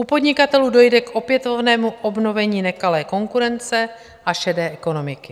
U podnikatelů dojde k opětovnému obnovení nekalé konkurence a šedé ekonomiky.